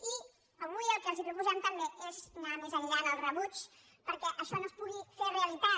i avui el que els proposem també és anar més enllà en el rebuig perquè això no es pugui fer realitat